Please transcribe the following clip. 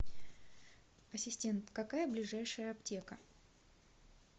ассистент какая ближайшая аптека